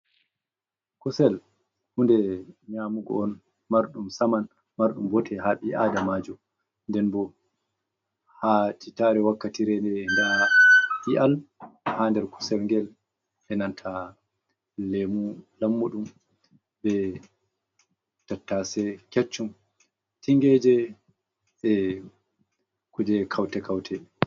Kuusel hunde nƴaamugo on marɗum saman marɗum boote ha ɓii adamajo, nden bo ha titare wakkatire nde ndaa i'al ha nder kuusel ngel, e nanta leemu lammuɗum be tattase kecchum tingeje, e kuuje kaute-kaute.